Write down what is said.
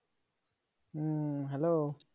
হম hello